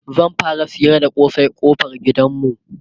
zan fara sayar da kosai ƙofar gidanmu